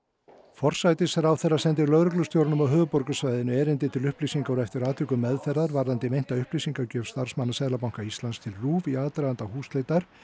forsætisráðherra sendi lögreglustjóranum á höfuðborgarsvæðinu erindi til upplýsingar og eftir atvikum meðferðar varðandi meinta upplýsingagjöf starfsmanna Seðlabanka Íslands til RÚV í aðdraganda húsleitar